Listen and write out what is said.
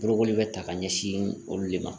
Bolokoli bɛ ta ka ɲɛsin olu de ma